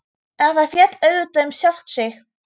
En það féll auðvitað um sjálft sig.